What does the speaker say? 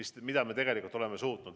Seda me tegelikult oleme suutnud.